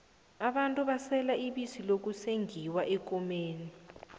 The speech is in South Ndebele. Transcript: abantu basela ibisi lokusenqiwa eenkomeni